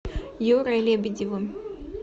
юрой лебедевым